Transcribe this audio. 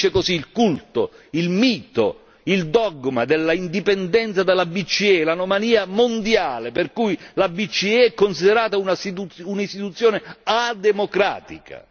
Finisce così il culto, il mito, il dogma dell'indipendenza della BCE e l'anomalia mondiale per cui la BCE è considerata un'istituzione non democratica.